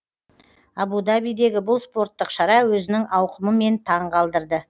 абу дабидегі бұл спорттық шара өзінің ауқымымен таң қалдырды